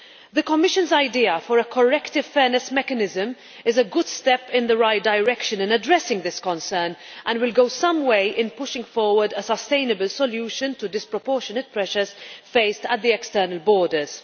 The Commission's idea for a corrective fairness mechanism is a good step in the right direction in addressing this concern and will go some way to pushing forward a sustainable solution to disproportionate pressures faced at the external borders.